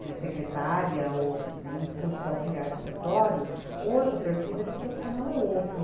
de secretária ou um curso de auxiliar de escritório, hoje o perfil desse profissional é outro.